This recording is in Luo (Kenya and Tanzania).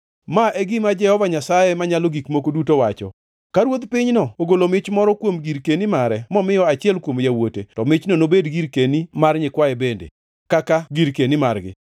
“ ‘Ma e gima Jehova Nyasaye Manyalo Gik Moko Duto wacho: Ka ruodh pinyno ogolo mich moro kuom girkeni mare momiyo achiel kuom yawuote, to michno nobed girkeni mar nyikwaye bende, kaka girkeni margi.